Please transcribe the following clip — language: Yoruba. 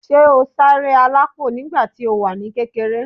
Ṣé o sáré alápò nígbà tí o wà ní kékeré?